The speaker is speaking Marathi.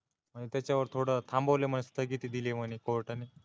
पण त्याच्यावर थोड़ थांबवलय म्हणे स्थगिती दिली म्हणे COURT ने